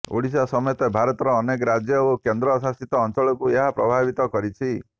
ଓଡିଶା ସମେତ ଭାରତର ଅନେକ ରାଜ୍ୟ ଓ କେନ୍ଦ୍ର ଶାସିତ ଅଞ୍ଚଳକୁ ଏହା ପ୍ରଭାବିତ କରିଛି